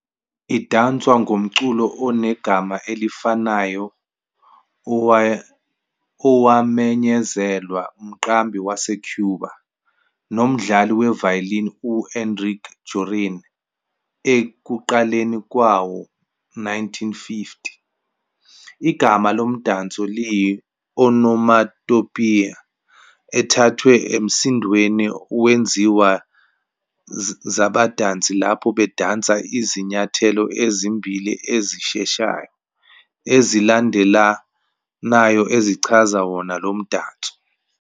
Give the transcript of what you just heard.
Idanswa ngomculo onegama elifanayo owamenyezelwa umqambi waseCuba nomdlali we-violin u-Enrique Jorrin ekuqaleni kwawo-1950. Igama lomdanso liyi-onomatopoeia ethathwe emsindweni wezinyawo zabadansi lapho bedansa izinyathelo ezimbili ezisheshayo ezilandelanayo ezichaza wona lomdanso.